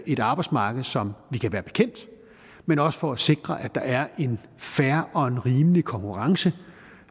et arbejdsmarked som vi kan være bekendt men også for at sikre at der er en fair og rimelig konkurrence